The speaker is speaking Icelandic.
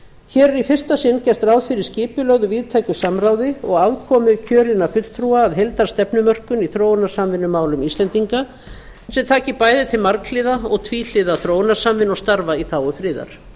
hér er í fyrsta sinn gert ráð fyrir skipulögðu víðtæku samráði og aðkomu kjörinna fulltrúa að heildarstefnumörkun í þróunarsamvinnumálum íslendinga sem taki bæði til marghliða og tvíhliða þróunarsamvinnu og starfa í þágu friðar